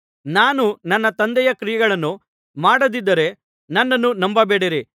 ನಾನು ನನ್ನ ತಂದೆಯ ಕ್ರಿಯೆಗಳನ್ನು ಮಾಡದಿದ್ದರೆ ನನ್ನನ್ನು ನಂಬಬೇಡಿರಿ